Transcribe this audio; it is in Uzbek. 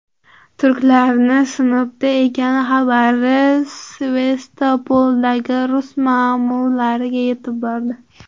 Turklarning Sinopda ekani xabari Sevastopoldagi rus ma’murlariga yetib bordi.